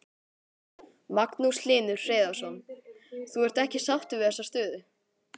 Magnús Hlynur Hreiðarsson: Þú ert ekki sáttur við þessa stöðu?